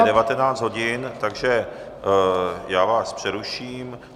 Tak je 19.00 hodin, takže já vás přeruším.